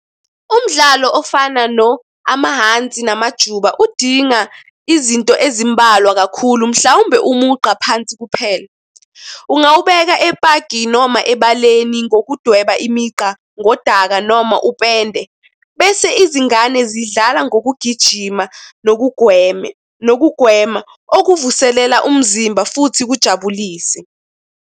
Umdlalo ofana no amahhansi namajuba udinga izinto ezimbalwa kakhulu mhlawumbe umugqa phansi kuphela. Ungawubeka epaki noma ebaleni ngokudweba imigqa ngodaka noma upende. Bese izingane zidlala ngokugijima nokugweme, nokugwema okuvuselela umzimba futhi kujabulise.